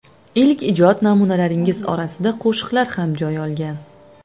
Ilk ijod namunalaringiz orasida qo‘shiqlar ham joy olgan.